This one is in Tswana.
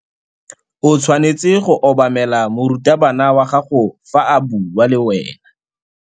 O tshwanetse go obamela morutabana wa gago fa a bua le wena.